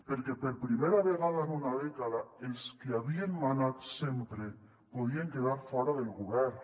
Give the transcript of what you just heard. perquè per primera vegada en una dècada els que havien manat sempre podien quedar fora del govern